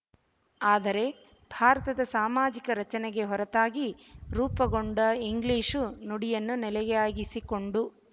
ಆದರೆ ಭಾರತದ ಸಾಮಾಜಿಕ ರಚನೆಗೆ ಹೊರತಾಗಿ ರೂಪುಗೊಂಡ ಇಂಗ್ಲಿಶು ನುಡಿಯನ್ನು ನೆಲೆಯಾಗಿಸಿಕೊಂಡು